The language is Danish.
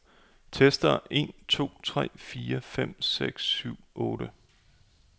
Tester en to tre fire fem seks syv otte.